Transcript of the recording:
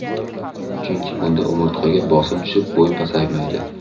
Chunki bunda umurtqaga bosim tushib, bo‘y pasaymaydi.